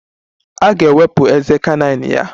A ga-ewepụ ezé canine ya.